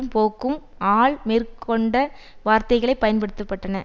பொக்கும் ஆல் மேற்கண்ட வார்த்தைகளே பயன்படுத்த பட்டன